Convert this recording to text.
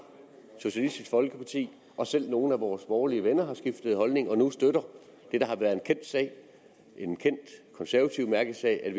socialistisk folkeparti og selv nogle af vores borgerlige venner har skiftet holdning og nu støtter det der har været en kendt konservativ mærkesag